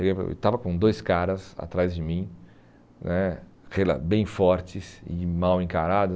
Eu estava com dois caras atrás de mim né, bem fortes e mal encarados.